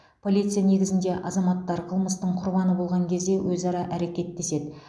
полиция негізінде азаматтар қылмыстың құрбаны болған кезде өзара әрекеттеседі